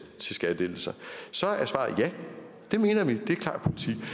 til skattelettelser så er svaret ja det mener vi er